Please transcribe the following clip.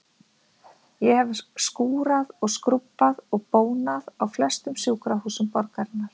Ég hef skúrað og skrúbbað og bónað á flestum sjúkrahúsum borgarinnar.